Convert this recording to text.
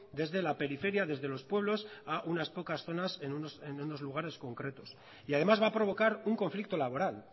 desde la periferia desde los pueblos a unas pocas zonas en unos lugares concretos y además va a provocar un conflicto laboral